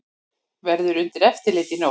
Verður undir eftirliti í nótt